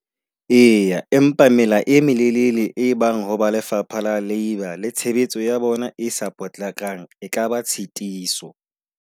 Eya, empa mela e molelele e bang ho ba lefapha la labour le tshebetso ya bona e sa potlakang, e kaba tshitiso.